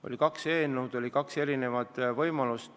Oli kaks eelnõu, oli kaks erinevat võimalust.